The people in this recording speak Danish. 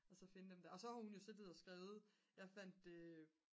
og så finde dem der og så har hun så skrevet jeg fandt